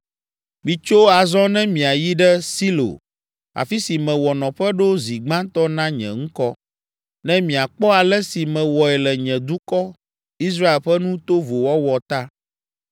“Mitso azɔ ne miayi ɖe Silo afi si mewɔ nɔƒe ɖo zi gbãtɔ na nye Ŋkɔ, ne miakpɔ ale si mewɔe le nye dukɔ, Israel ƒe nu tovo wɔwɔ ta.